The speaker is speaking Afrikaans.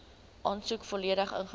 aansoek volledig ingevul